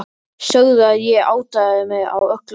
Sögðu að ég áttaði mig á öllu seinna.